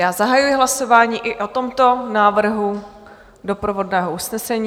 Já zahajuji hlasování i o tomto návrhu doprovodného usnesení.